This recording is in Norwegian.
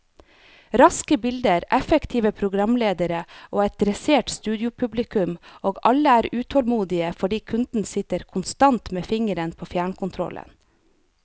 Raske bilder, effektive programledere og et dressert studiopublikum, og alle er utålmodige fordi kunden sitter konstant med fingeren på fjernkontrollen.